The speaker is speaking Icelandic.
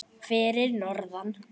Fyrir norðan?